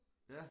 Ja